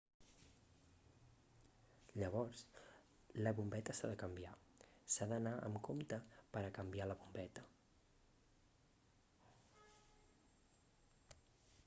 llavors la bombeta s'ha de canviar s'ha d'anar amb compte per a canviar la bombeta